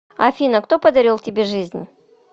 афина кто подарил тебе жизнь